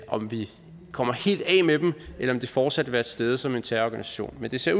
om vi kommer helt af med dem eller om de fortsat vil være til stede som en terrororganisation men det ser